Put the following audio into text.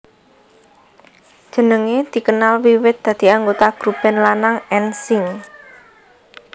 Jenenge dikenal wiwit dadi anggota grub band lanang N Sync